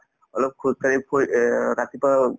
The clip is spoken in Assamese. অলপ খোজকাঢ়ি ফুৰি এহ্ ৰাতিপুৱাই অলপ